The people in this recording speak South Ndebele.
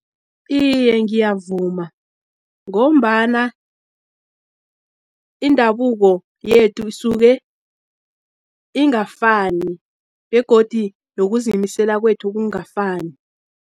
Iye, ngiyavuma, ngombana indabuko yethu, isuke ingafani, begodi nokuzimisela kwethu kungafani.